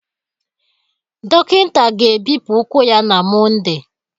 Dọkịta ga-ebipụ ụkwụ ya na Mọnde